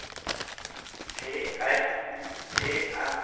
T R U E S